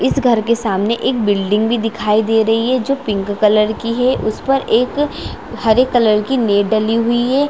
इस घर के सामने एक बिल्डिंग भी दिखाई दे रही है जो पिंक कलर की है उस पर एक हरे कलर की नी डली हुई है।